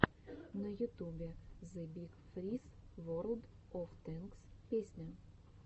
на ютубе зэ биг фриз ворлд оф тэнкс песня